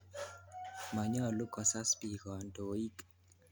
Manyolu kosas piik kandoik.